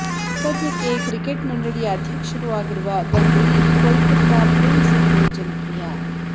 ಸದ್ಯಕ್ಕೆ ಕ್ರಿಕೆಟ್ ಮಂಡಳಿ ಅಧ್ಯಕ್ಷರೂ ಆಗಿರುವ ಗಂಗೂಲಿ ಕೋಲ್ಕೊತ್ತಾ ಪ್ರಿನ್ಸ್ ಎಂದೇ ಜನಪ್ರಿಯ